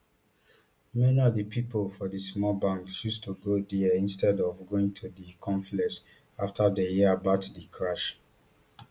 many of of di pipo for di small banks chose to go dia instead of going to di confluence afta dem hear about di crush